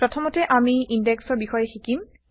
প্ৰথমতে আমি ইনডেক্সেচৰ বিষয়ে শিকিম